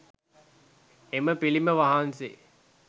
එම පිළිම වහන්සේ